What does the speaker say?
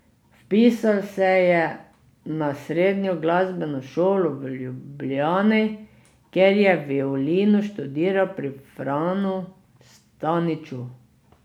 Vpisal se je na Srednjo glasbeno šolo v Ljubljani, kjer je violino študiral pri Franu Staniču.